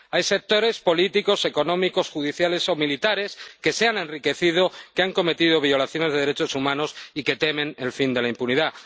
Hay sectores políticos, económicos, judiciales o militares que se han enriquecido, que han cometido violaciones de derechos humanos y que temen el fin de la impunidad.